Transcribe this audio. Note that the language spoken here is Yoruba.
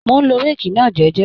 Mò ń lo réèkì náà jẹ́jẹ́